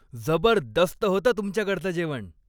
जबरदस्त होतं तुमच्याकडचं जेवण.